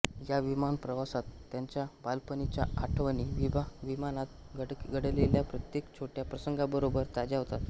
या विमान प्रवासात त्यांच्या बालपणीच्या आठवणी विमानात घडलेल्या प्रत्येक छोट्या प्रसंगाबरोबर ताज्या होतात